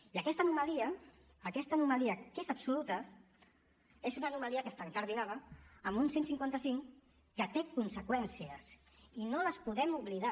i aquesta anomalia aquesta anomalia que és absoluta és una anomalia que està incardinada amb un cent i cinquanta cinc que té conseqüències i no les podem oblidar